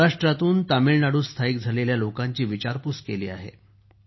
सौराष्ट्रातून तामिळनाडूत स्थायिक झालेल्या लोकांची विचारपूस केली आहे